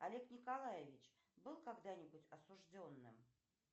олег николаевич был когда нибудь осужденным